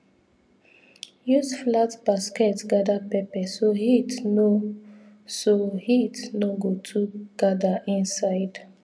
use flat basket gather pepper so heat no so heat no go too gather inside